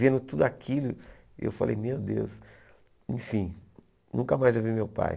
Vendo tudo aquilo, eu falei, meu Deus, enfim, nunca mais eu vi meu pai.